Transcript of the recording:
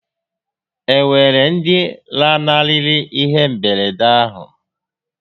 E nwere ndi lanarịrị ihé mberede ahụ?